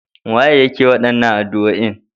Wa yake waɗannan addu'oin?